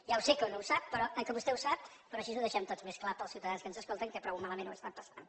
ja ho sé que vostè ho sap però així ho deixem tots més clar per als ciutadans que ens escolten que prou malament ho estan passant